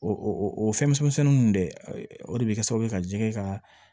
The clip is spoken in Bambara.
O o fɛnmisɛnnin ninnu dɛ o de be kɛ sababu ye ka jɛgɛ ka